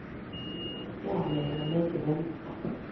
kianai ngalek chebo iman